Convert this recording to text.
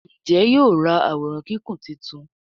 Njé yóò rá Àwòrán Kíkún títún?